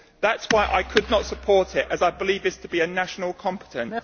That is why I could not support it, as I believe this to be a national competence.